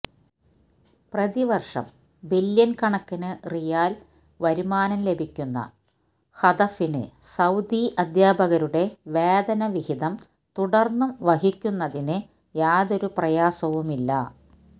പ്രതിവർഷം ബില്യൺ കണക്കിന് റിയാൽ വരുമാനം ലഭിക്കുന്ന ഹദഫിന് സൌദി അധ്യാപകരുടെ വേതന വിഹിതം തുടർന്നും വഹിക്കുന്നതിന് യാതൊരു പ്രയാസവുമില്ല